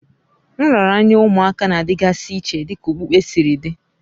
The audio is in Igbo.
Nraranye ụmụaka na-adịgasị iche dịka okpukpe siri dị